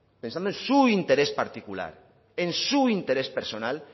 pensando en su interés particular en su interés personal